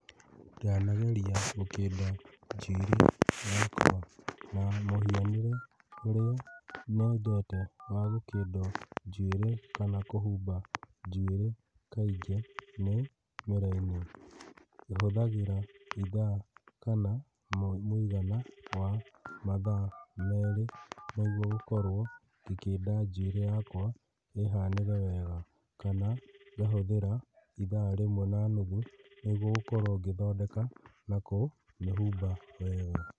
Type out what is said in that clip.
Ndanageria gũkĩnda njuĩrĩ yakwa, na mũhianĩre ũrĩa nyendete wa gũkĩnda njuĩrĩ kana kũhumba njuĩrĩ kaingĩ nĩ mĩraini. Hũthagĩra ithaa kana mũigana wa mathaa merĩ nĩguo gũkorwo ngĩkĩnda njuĩrĩ yakwa ĩhanĩre wega, kana ngahũthĩra ithaa rĩmwe na nuthu, nĩguo gũkorwo ngĩthondeka na kũmĩhumba wega.